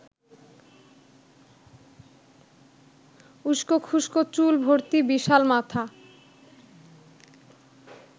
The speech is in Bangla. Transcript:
উস্কোখুস্কো চুল ভর্তি বিশাল মাথা